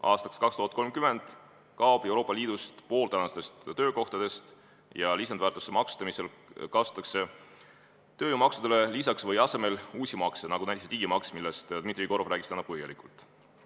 Aastaks 2030 kaob Euroopa Liidus pool tänastest töökohtadest ja lisandväärtuse maksustamisel kasutatakse peale tööjõumaksude või nende asemel uusi makse, nagu see digimaks, millest Dmitri Jegorov rääkis täna põhjalikult.